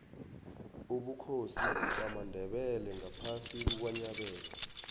ubukhosi bamandebele ngaphasi kukanyabela